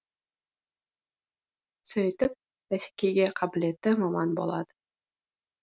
сөйтіп бәсекеге қабілетті маман болады